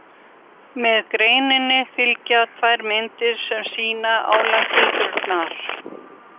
Með greininni fylgja tvær myndir sem sýna álagildrurnar.